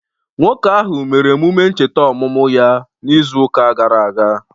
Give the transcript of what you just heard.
Nwoke ahụ mere emume ncheta ọmụmụ ya n'izuụka gara aga